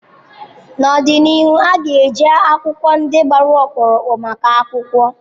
N'ọdịnihu a ga-eji akwụkwọ ndị gbara ọkpụrụkpụ maka akwụkwọ.